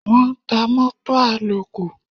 Wọ́n ń ta mótò àlòkù.